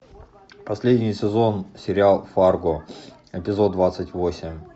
последний сезон сериал фарго эпизод двадцать восемь